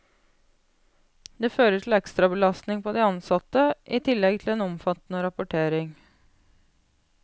Det fører til ekstrabelastning på de ansatte, i tillegg til en omfattende rapportering.